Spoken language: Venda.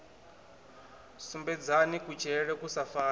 sumbedzani kutshilele ku sa fani